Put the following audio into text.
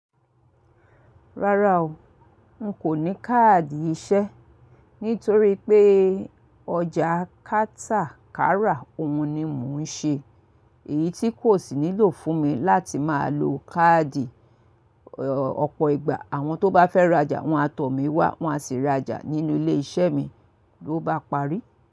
Rárá o, n kò ní káàdì iṣẹ́ nítorí pé ọjà kátàkárà òun ni mò ń ṣe èyí tí kò sì nílò fún mi láti máa lo káàdì ọ̀pọ̀ ìgbà àwọn tó bá fẹ́ rajà wọ́n a tọ̀ mí wá wọ́n á sì rajà nínú ilé iṣẹ́ mi ló bá parí.